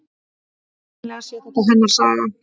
Vitanlega sé þetta hennar saga.